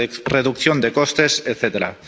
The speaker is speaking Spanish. reducción de costes, etcétera.